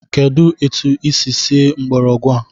Kedụ etu i si sie mgbọrọgwụ a?